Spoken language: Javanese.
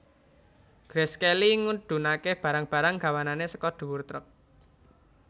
Grace Kelly ngedhunake barang barang gawanane saka dhuwur truk